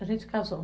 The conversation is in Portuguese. A gente casou.